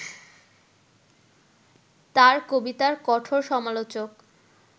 তাঁর কবিতার কঠোর সমালোচক